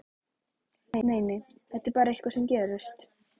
Nei, nei, þetta er bara eitthvað sem gerist.